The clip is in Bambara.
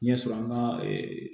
Ɲɛsɔrɔ an ka